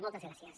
moltes gràcies